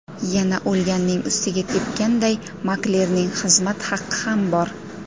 Yana o‘lganning ustiga tepganday, maklerning xizmat haqqi ham bor.